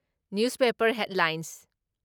news paper headlines